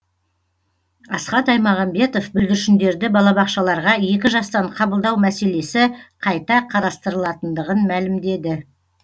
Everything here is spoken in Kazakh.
асхат аймағамбетов бүлдіршіндерді балабақшаларға екі жастан қабылдау мәселесі қайта қарастырылатындығын мәлімдеді